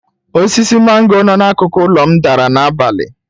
Osisi mango no n'akụkụ ụlọ m dara n'abalị.